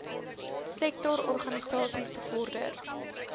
sektor organisasies bevorder